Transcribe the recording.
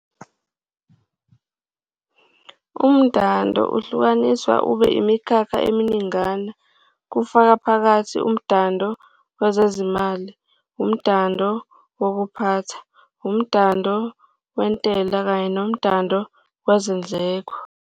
Umdando ungahlukaniswa ube imikhakha eminingana kufaka phakathi umdando wezezimali, umdando wokuphatha, umdando wentela kanye nomdando wezindleko.